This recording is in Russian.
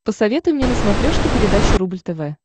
посоветуй мне на смотрешке передачу рубль тв